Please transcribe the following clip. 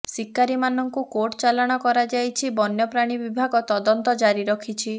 ଶିକାରୀମାନଙ୍କୁ court ଚାଲାଣ କରାଯାଇଛି ବନ୍ୟପ୍ରାଣୀ ବିଭାଗ ତଦନ୍ତ ଜାରି ରଖିଛି